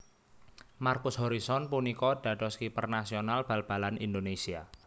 Markus Horison punika dados kiper nasional bal balan Indonésia